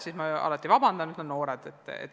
Siis ma alati palun vabandust ja ütlen "noored".